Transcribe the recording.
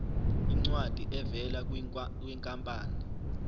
incwadi evela kwinkampani